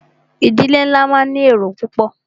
Ìdílé nlá máà ní èrò púpọ̀.